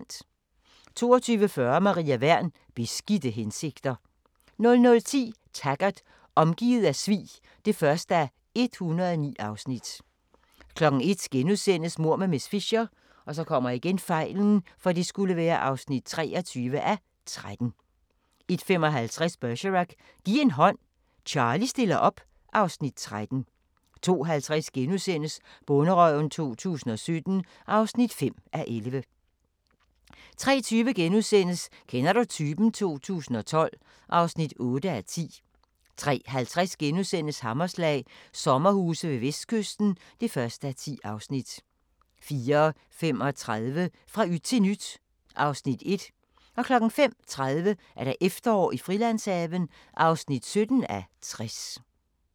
22:40: Maria Wern: Beskidte hensigter 00:10: Taggart: Omgivet af svig (1:109) 01:00: Mord med miss Fisher (23:13)* 01:55: Bergerac: Giv en hånd, Charlie stiller op (Afs. 13) 02:50: Bonderøven 2017 (5:11)* 03:20: Kender du typen? 2012 (8:10)* 03:50: Hammerslag – sommerhuse ved Vestkysten (1:10)* 04:35: Fra yt til nyt (Afs. 1) 05:30: Efterår i Frilandshaven (17:60)